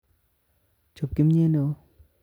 Chob kim'yet neo